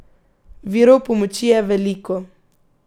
Virov pomoči je veliko.